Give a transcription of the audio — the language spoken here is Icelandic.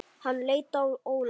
Hann leit á Óla.